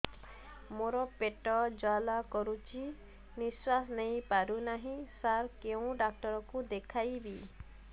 ମୋର ପେଟ ଜ୍ୱାଳା କରୁଛି ନିଶ୍ୱାସ ନେଇ ପାରୁନାହିଁ ସାର କେଉଁ ଡକ୍ଟର କୁ ଦେଖାଇବି